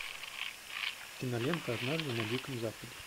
кинолента однажды на диком западе